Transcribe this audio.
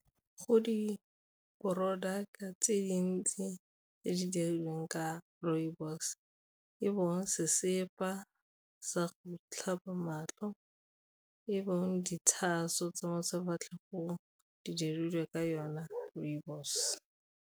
Go di-product tse dintsi tse di dirilweng ka rooibos, e bong sesepa sa go tlhapa matlho, e bong diitahaso tsa mo sefatlhegong di dirilwe ka yona rooibos.